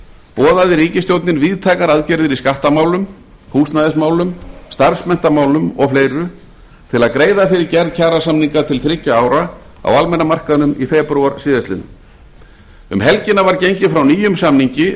boðaði ríkisstjórnin víðtækar aðgerðir í skattamálum húsnæðismálum starfsmenntamálum og fleiru til að greiða fyrir gerð kjarasamninga til þriggja ára á almenna markaðnum í febrúar síðastliðinn um helgina var gengið frá nýjum samningi